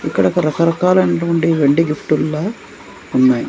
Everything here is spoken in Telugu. ఇక్కడ ఒక రకరకాలయినటువంటి వెండి గిఫ్ట్ లా ఉన్నాయి.